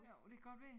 Jo det kan godt være